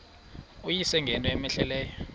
uyise ngento cmehleleyo